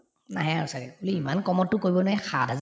নাহে আৰু ছাগে বোলো ইমান কমতটো কৰিব নে সাত